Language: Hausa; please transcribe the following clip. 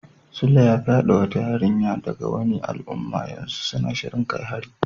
Suleiman ya fyade wata yarinya daga wani al'umma, yanzu suna shirin kai hari.